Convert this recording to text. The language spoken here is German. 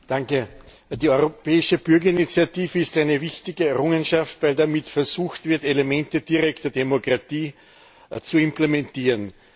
Herr Präsident! Die Europäische Bürgerinitiative ist eine wichtige Errungenschaft, weil damit versucht wird, Elemente direkter Demokratie zu implementieren.